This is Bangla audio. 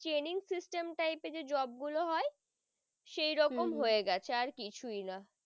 training system type যে job গুলো হয় সেই রকম হম হয়ে গেছে আর কিছুই না।